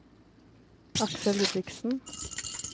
Aksel Ludvigsen